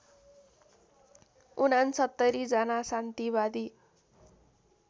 ६९ जना शान्तिवादी